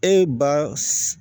E ba